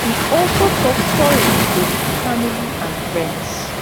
e also tok sorry to im family and friends